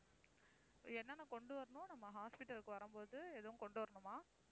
என்னென்ன கொண்டு வரணும் நம்ம hospital க்கு வரும்போது எதுவும் கொண்டு வரணுமா?